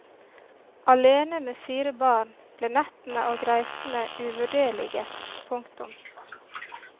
Alene med fire barn ble nettene og reisene uvurderlige. punktum